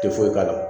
Tɛ foyi k'a la